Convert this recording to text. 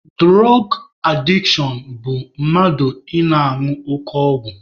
Dụrọg adishọn bụ mmadụ ị na-añụ oke ọgwụ..